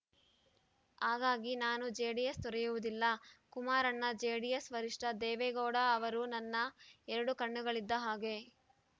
ಹಾಗಾಗಿ ನಾನು ಜೆಡಿಎಸ್‌ ತೊರೆಯುವುದಿಲ್ಲ ಕುಮಾರಣ್ಣ ಜೆಡಿಎಸ್‌ ವರಿಷ್ಠ ದೇವೇಗೌಡ ಅವರು ನನ್ನ ಎರಡು ಕಣ್ಣುಗಳಿದ್ದ ಹಾಗೆ